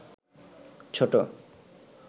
ছোট